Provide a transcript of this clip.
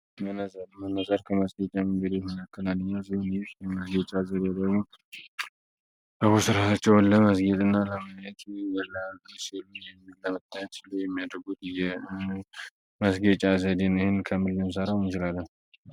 መነዘር ከመስኬጫ ምንግዶ የትመለከላንኛ ዝሆን ይ የመስጌጫ አዘድ የደግሞ በቡስራሃቸውን ለመስጌጥ እና ለመየቱ የላሲሉ የሚለመታት ሲሉ የሚያድርጉት መስጌጨ አዘዴን ይህን ከምሊዮን ዘራ ውንጅላለም